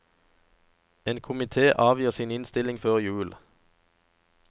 En komite avgir sin innstilling før jul.